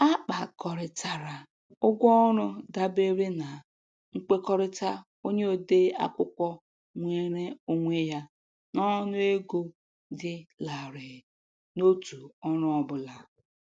A kpakọrịtara ụgwọ ọrụ dabere na nkwekọrịta onye ode akwụkwọ nweere onwe ya n'ọnụego dị larịị n'otu ọrụ ọ bụla.